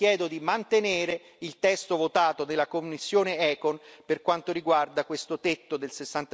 Quindi chiedo di mantenere il testo votato della commissione ECON per quanto riguarda questo tetto del